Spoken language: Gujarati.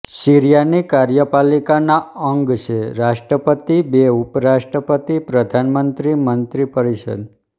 સિરિયાની કાર્યપાલિકાના અંગ છે રાષ્ટ્રપતિ બે ઉપરાષ્ટ્રપતિ પ્રધાનમંત્રીૢ મંત્રીપરિષદ